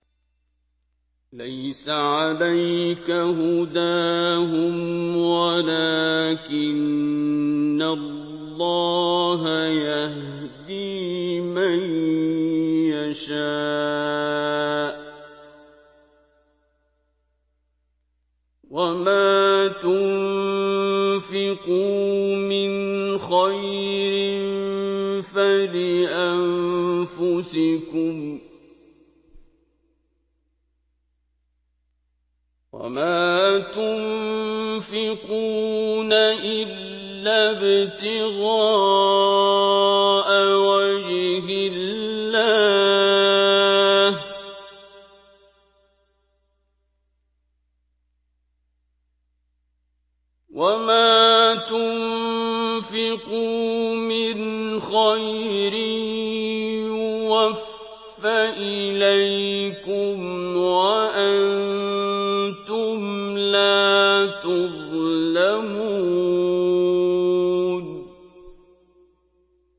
۞ لَّيْسَ عَلَيْكَ هُدَاهُمْ وَلَٰكِنَّ اللَّهَ يَهْدِي مَن يَشَاءُ ۗ وَمَا تُنفِقُوا مِنْ خَيْرٍ فَلِأَنفُسِكُمْ ۚ وَمَا تُنفِقُونَ إِلَّا ابْتِغَاءَ وَجْهِ اللَّهِ ۚ وَمَا تُنفِقُوا مِنْ خَيْرٍ يُوَفَّ إِلَيْكُمْ وَأَنتُمْ لَا تُظْلَمُونَ